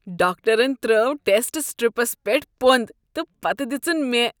ڈاکٹرن ترٲو test strips پیٹھ پۄند تہ پتہ دِژن مےٚ۔